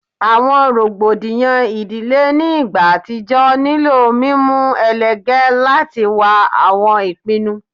Awọn rogbodiyan idile ni igba atijọ nilo mimu elege lati wa awọn ipinnu